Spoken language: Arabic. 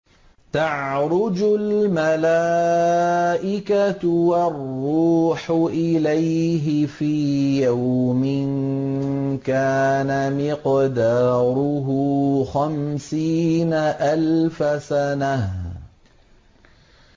تَعْرُجُ الْمَلَائِكَةُ وَالرُّوحُ إِلَيْهِ فِي يَوْمٍ كَانَ مِقْدَارُهُ خَمْسِينَ أَلْفَ سَنَةٍ